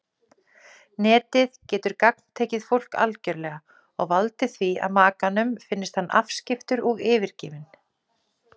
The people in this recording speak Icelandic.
Netið getur gagntekið fólk algerlega og valdið því að makanum finnist hann afskiptur og yfirgefinn.